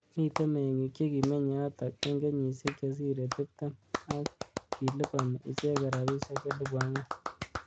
Mitei ming'ik chekikminy yotok eng kenyishek chesire tiptem(20) akilabani ichek rabishek elibu ang'wan ((4,000).